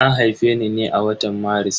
An haife ni ne a watan Maris.